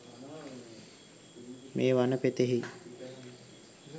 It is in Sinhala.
මේ වන පෙතෙහි